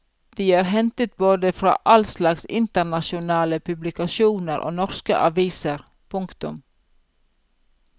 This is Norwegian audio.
De er hentet både fra all slags internasjonale publikasjoner og norske aviser. punktum